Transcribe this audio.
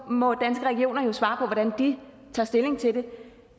må danske regioner svare på hvordan de tager stilling til det